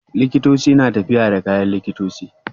Likitoci suna tafiya da kayan likitoci